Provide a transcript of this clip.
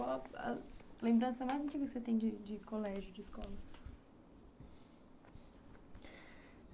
Qual a lembrança mais antiga que você tem de de colégio, de escola?